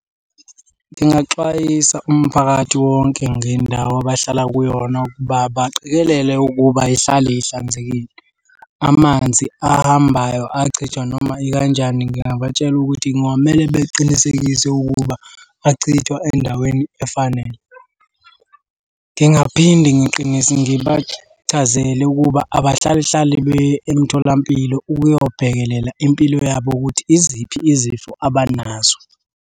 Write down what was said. Ngingaxwayisa umphakathi wonke ngendawo abahlala kuyona ukuba baqikelele ukuba ihlale ihlanzekile. Amanzi ahambayo achithwa noma ikanjani ngingabatshela ukuthi kungamele beqinisekise ukuba achithwa endaweni efanele. Ngingaphinde ngibachazele ukuba abahlale hlale beye emtholampilo ukuyobhekelela impilo yabo ukuthi iziphi izifo abanazo.